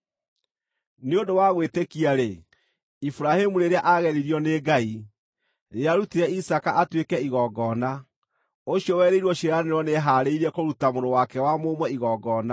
Nĩ ũndũ wa gwĩtĩkia-rĩ, Iburahĩmu, rĩrĩa aageririo nĩ Ngai, nĩarutire Isaaka atuĩke igongona. Ũcio werĩirwo ciĩranĩro nĩehaarĩirie kũruta mũrũ wake wa mũmwe igongona,